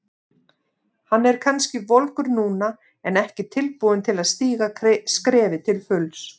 Hann er kannski volgur núna en ekki tilbúinn til að stíga skrefið til fulls.